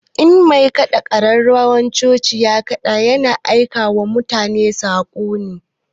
In mai kaɗa ƙararrawan coci ya ƙada ya na aika wa ma su bauta saƙo ne